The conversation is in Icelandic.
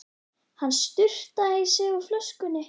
Hann sturtaði í sig úr flöskunni.